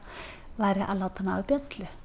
væri að láta hana hafa bjöllu